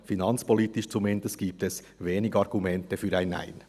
Zumindest finanzpolitisch gibt es wenige Argumente für ein Nein.